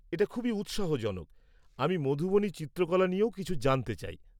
এটা খুবই উৎসাহজনক। আমি মধুবনী চিত্রকলা নিয়েও কিছু জানতে চাই।